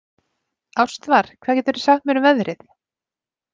Ástvar, hvað geturðu sagt mér um veðrið?